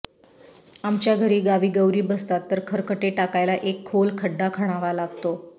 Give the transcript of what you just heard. आमच्याघरी गावी गौरी बसतात तर खरकटे टाकायला एक खोल खड्डा खणावा लागतो